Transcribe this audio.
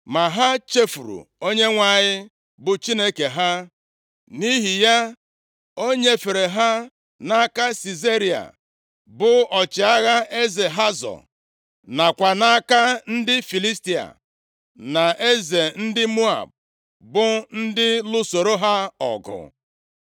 “Ma ha chefuru Onyenwe anyị bụ Chineke ha, nʼihi ya o nyefere ha nʼaka Sisera, bụ ọchịagha eze Hazọ, nakwa nʼaka ndị Filistia, na eze ndị Moab, bụ ndị lụsoro ha ọgụ.